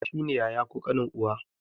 Kawu shi ne yaya ko ƙanin uwa.